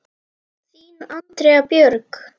Þín, Andrea Björg.